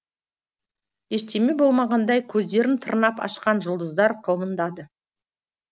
болмағандай көздерін тырнап ашқан жұлдыздар қылмыңдады